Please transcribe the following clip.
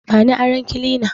Bani aron kilina